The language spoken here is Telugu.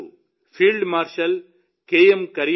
ఈరోజు ఫీల్డ్ మార్షల్ కె